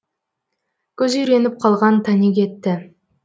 көз үйреніп қалған тани кетті